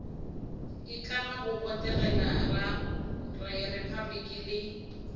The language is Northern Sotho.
itlama go botegela repabliki le